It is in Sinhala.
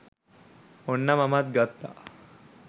ඔන්න මමත් ගත්තා